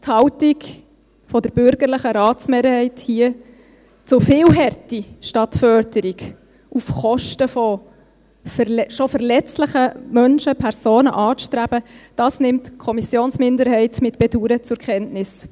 Die Haltung der bürgerlichen Ratsmehrheit, hier zu viel Härte statt Förderung, auf Kosten schon verletzlicher Menschen, Personen, anzustreben – dies nimmt die Kommissionsminderheit mit Bedauern zur Kenntnis.